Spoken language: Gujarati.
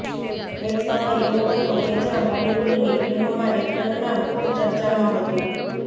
એક સમય એવો હતો કે જ્યારે બોલીવૂડની ફિલ્મોમાં રેખાનું નામ ખૂબ ચર્ચામાં હતું